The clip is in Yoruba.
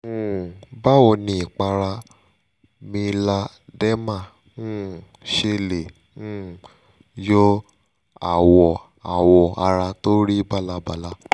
um báwo ni ìpara mealarderma um ṣe lè um yọ àwọ̀ àwọ̀ ara tó rí bálabàla?